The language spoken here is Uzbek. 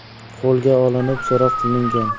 qo‘lga olinib, so‘roq qilingan.